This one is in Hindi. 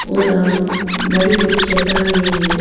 और उम अ बड़ी-बड़ी चट्टानें हैं।